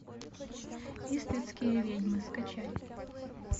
иствикские ведьмы скачай